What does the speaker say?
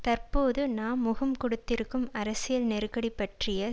தற்போது நாம் முகம் கொடுத்திருக்கும் அரசியல் நெருக்கடி பற்றிய